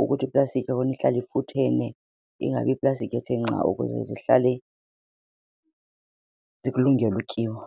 ukuthi iplastiki ihlale ifuthene ingabi yiplastiki ethe nca ukuze zihlale zikulungele utyiwa.